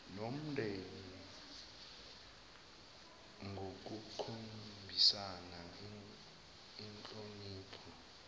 nomndeni ngokukhombisa inhlonipho